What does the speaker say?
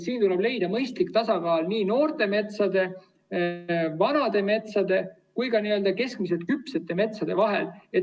Siin tuleb leida mõistlik tasakaal noorte metsade, vanade metsade ja keskmiselt küpsete metsade vahel.